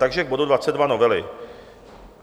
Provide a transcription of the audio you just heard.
Takže k bodu 22 novely.